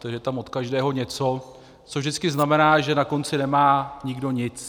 Takže je tam od každého něco, což vždycky znamená, že na konci nemá nikdo nic.